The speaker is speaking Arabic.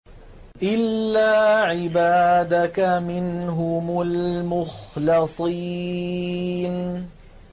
إِلَّا عِبَادَكَ مِنْهُمُ الْمُخْلَصِينَ